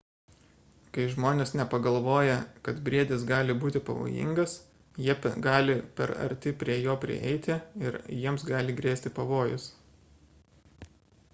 kai žmonės nepagalvoja kad briedis gali būti pavojingas jie gali per arti prie jo prieiti ir jiems gali grėsti pavojus